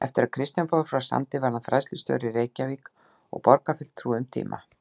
Eftir að Kristján fór frá Sandi varð hann fræðslustjóri í Reykjavík og borgarfulltrúi um tíma.